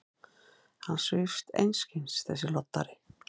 Hann svífst einskis, þessi loddari!